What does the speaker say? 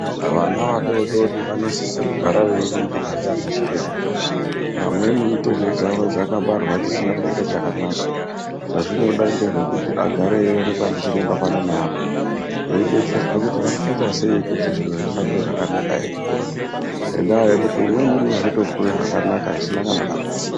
Vana vadodori vanosise kugara veiningirwe ndiana chiremba vamweni mitezo dzawo dzakabarwa dzisina kumira chakanaka chazvinoda ngezvekuti agare eioneka ndichiremba pano neapo eidetserwa kuti vangaita sei kuti zviro zvifambe zvakanaka eikura ngenda yekuti umweni unozotokure zvakanaka zvisina kana dambudziko.